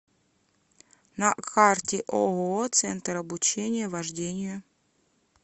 на карте ооо центр обучения вождению